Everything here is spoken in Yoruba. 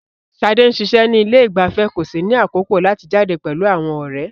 Sade ń ṣiṣẹ́ ní ilé ìgbafẹ́ kò sì ní àkókò láti jáde pẹ̀lú àwọn ọ̀rẹ́.